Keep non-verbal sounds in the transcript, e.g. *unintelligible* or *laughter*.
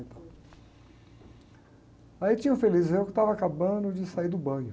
Aí tinha o Frei *unintelligible* que estava acabando de sair do banho.